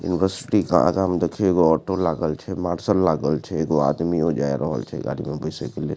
University के आगा में देखिए एगो ऑटो लागल छे मार्सल लागल छे एगो आदमी ओ जाए रहल छे गाड़ी में बैसे के लिए।